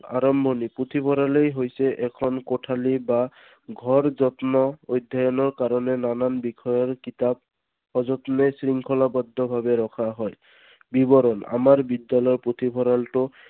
আৰম্ভণি পুথিভঁৰালেই হৈছে এখন কোঠালি বা ঘৰ যত্ন অধ্যয়নৰ কাৰণে নানান বিষয়ৰ কিতাপ সযতনে শৃংখলাবদ্ধ বাবে ৰখা হয়। বিৱৰণ আমাৰ বিদ্যালয় পুথিভঁৰালটো